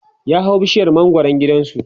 ya hau bishiyar mangwaran gidansu